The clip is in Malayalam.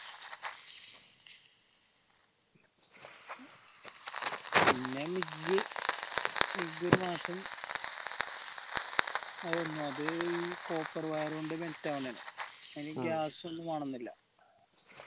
പിന്നെ മിഗ്ഗ് മിഗ്ഗ് ഒരു മാസം അതായിരുന്നു അത് ഈ copper wire ഒണ്ട് melt ആവണേ ആണ് അതിന് ഗ്യാസ് ഒന്നും വേണമെന്നില്ല